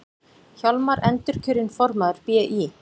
Hjálmar endurkjörinn formaður BÍ